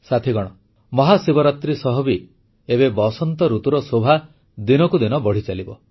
ସାଥୀଗଣ ମହାଶିବରାତ୍ରୀ ସହ ବି ଏବେ ବସନ୍ତ ଋତୁର ଶୋଭା ଦିନକୁ ଦିନ ବଢ଼ିଚାଲିବ